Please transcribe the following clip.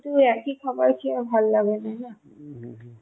একই খাবার আর ভাল লাগেনা